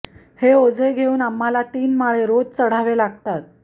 हे ओझे घेऊन आम्हाला तीन माळे रोज चढावे लागतात